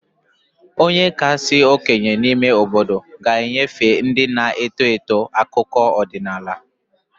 Onye kasị okenye n'ime obodo ga-enyefe ndị na-eto eto akụkọ ọdịnala